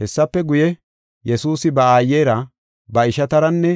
Hessafe guye, Yesuusi ba aayera, ba ishataranne